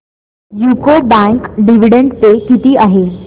UCO bank dividend pay किती आहे